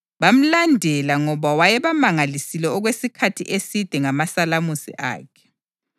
Bamlandela ngoba wayebamangalisile okwesikhathi eside ngamasalamusi akhe.